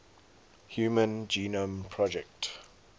human genome project